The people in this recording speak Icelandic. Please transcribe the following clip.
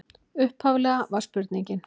Upphaflega var spurningin: